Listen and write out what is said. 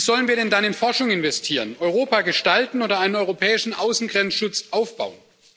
Wie sollen wir denn dann in Forschung investieren, Europa gestalten oder einen europäischen Außengrenzschutz aufbauen?